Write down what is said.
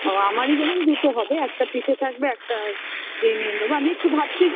ও আমারি যেমন দুটো হবে একটা পিঠে থাকবে একটা